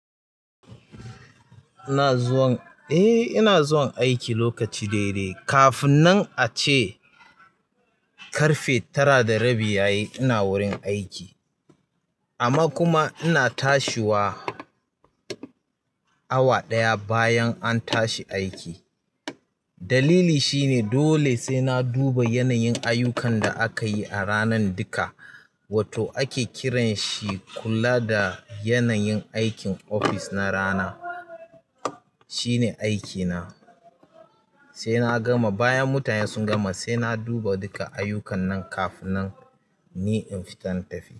Eh ina zuwan aiki lokaci daidai kafin nan ace ƙarfe tara da rabi yayi ina wurin aiki. Amma kuma ina tashiwa awa ɗaya bayan an tashi aiki. Dalili shine dole sai na duba yanayin ayyukan da aka yi a ranar duka, wato ake kiran shi kula da yanayin aikin ofis na rana. Shine aikina sai na gama bayan mutane sun gama sai na duba duka ayyukan nan kafin nan ni in fita na tafi.